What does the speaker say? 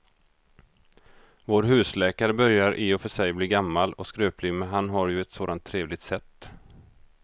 Vår husläkare börjar i och för sig bli gammal och skröplig, men han har ju ett sådant trevligt sätt!